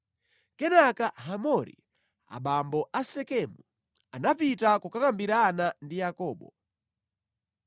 Kenaka Hamori, abambo a Sekemu, anapita kukakambirana ndi Yakobo.